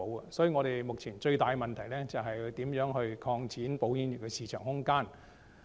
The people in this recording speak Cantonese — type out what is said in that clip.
所以，香港保險業目前最大的問題是如何擴展保險業的市場空間。